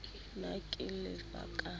p na ke lefa ka